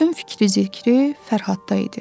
Bütün fikri-zikri Fərhadda idi.